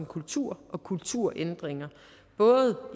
kultur og kulturændringer både